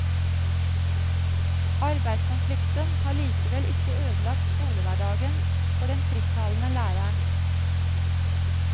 Arbeidskonflikten har likevel ikke ødelagt skolehverdagen for den frittalende læreren.